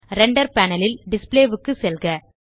render panel ல் display க்கு செல்க